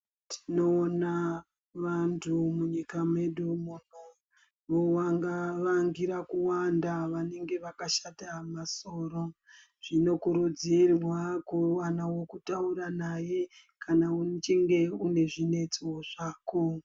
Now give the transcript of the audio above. Tinoona vantu munyika medu muno vovanga wangira kuwanda vanenge vakashata masoro, zvinokurudzirwa kuwana wekutaura naye kana uchinge une zvinetso zvako.